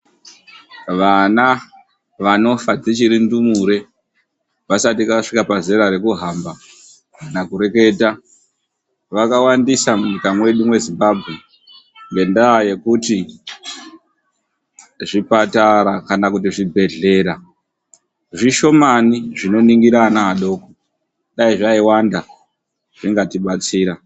Vana vanofa dzichiri ndumure vasati vasvika pazera rekuhamba kana kureketa vakawandisa munyika mwedu mweZimbabwe ngedaa yekuti zvipatara kana kuti zvibhedhlera zvishomani zvinoningira ana adoko, dai zvaiwanda, zvingatibatsira.